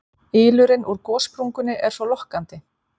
Ylurinn úr gossprungunni er svo lokkandi